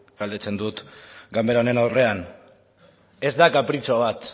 galdetzen dut ganbera honen aurrean ez da kapritxo bat